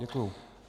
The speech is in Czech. Děkuji.